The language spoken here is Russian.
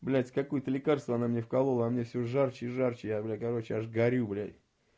блять какое-то лекарство она мне вколола а мне всё жарче и жарче я бля короче аж горю блять